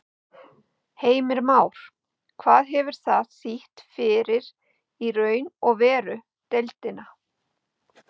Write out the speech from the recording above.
Heimir Már: Hvað hefur það þýtt fyrir í raun og veru deildina?